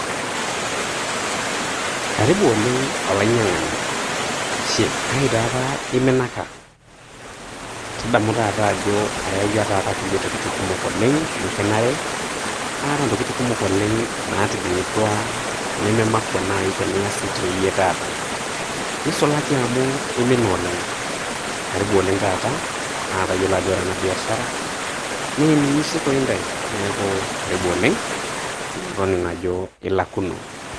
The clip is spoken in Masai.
Karibu oleng' olainyang'ani, shie, kai taa apa iminaka? tadamu taata ajo ayawua taata kulie tokitin kumok oleng' nikinare. Aata ntokitin kumok oleng' naatijing'utua nememakua naai teniya sii toi yie taata, neisulaki amu imina oleng' karibu oleng' taata naa tayiolo ajo ore ena biashara naa eninyi sii toi ntai, neeku karibu oleng' naa toning'o ajo ilakuno.